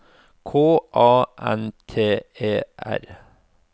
K A N T E R